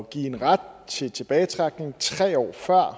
give en ret til tilbagetrækning tre år før